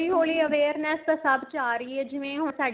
ਹੋਲੀਂ ਹੋਲੀਂ awareness ਤਾਂ ਸਭ ਚ ਆ ਰਹੀ ਏ ਜਿਵੇਂ ਹੁਣ ਸਾਡੇ